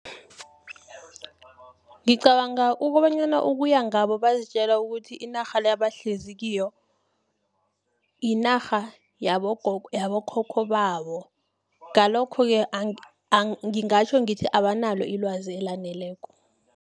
Ngicabanga ukobanyana ukuya ngabo bazitjela ukuthi, inarha le abahlezi kiyo, yinarha nabokhokho babo. Ngalokho-ke ngingatjho ngithi, abanalo ilwazi elaneleko.